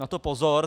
Na to pozor.